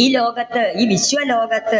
ഈ ലോകത്ത് ഈ വിശ്വലോകത്ത്